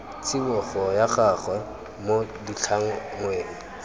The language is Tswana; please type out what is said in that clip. tsibogo ya gagwe mo ditlhangweng